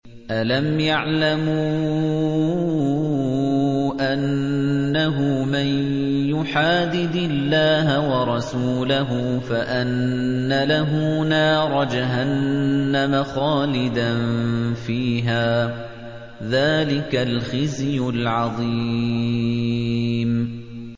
أَلَمْ يَعْلَمُوا أَنَّهُ مَن يُحَادِدِ اللَّهَ وَرَسُولَهُ فَأَنَّ لَهُ نَارَ جَهَنَّمَ خَالِدًا فِيهَا ۚ ذَٰلِكَ الْخِزْيُ الْعَظِيمُ